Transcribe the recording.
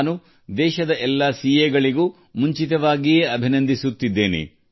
ನಾನು ದೇಶದ ಎಲ್ಲಾ ಸಿಎಗಳನ್ನು ಮುಂಚಿತವಾಗಿ ಅಭಿನಂದಿಸುತ್ತೇನೆ